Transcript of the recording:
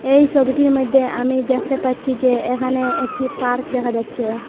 এই ছবিটির মইধ্যে আমি দেকতে পাচ্চি যে এখানে একটি পার্ক দেখা যাচ্চে ।